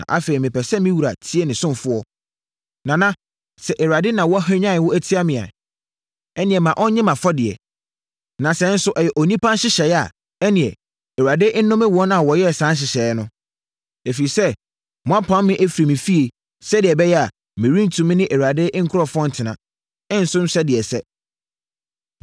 Na afei mepɛ sɛ me wura tie ne ɔsomfoɔ, Nana. Sɛ Awurade na wahwanyan wo atia me a, ɛnneɛ ma ɔnnye mʼafɔdeɛ. Na sɛ nso ɛyɛ onipa nhyehyɛeɛ a, ɛnneɛ, Awurade nnome wɔn a wɔyɛɛ saa nhyehyɛeɛ no. Ɛfiri sɛ, moapam me afiri me fie sɛdeɛ ɛbɛyɛ a, merentumi ne Awurade nkurɔfoɔ ntena, nsom sɛdeɛ ɛsɛ.